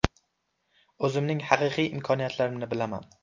O‘zimning haqiqiy imkoniyatlarimni bilaman.